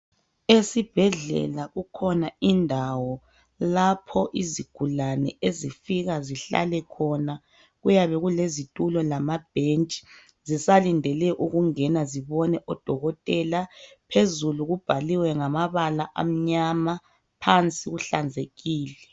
Esibhedlela kukhona indawo lapho izigulane ezifika zihlale khona zisalindele kuyabe kulezitulo lamabhentshi zisalindele ukungena zibone odokotela. Phezulu kubhaliwe ngamabala amnyama phansi kuhlanzekile.